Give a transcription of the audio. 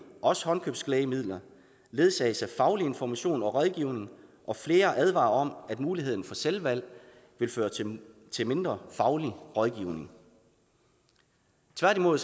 også håndkøbslægemidler ledsages af faglig information og rådgivning og flere advarer om at muligheden for selvvalg vil føre til til mindre faglig rådgivning tværtimod